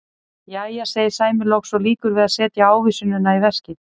Jæja, segir Sæmi loks og lýkur við að setja ávísunina í veskið.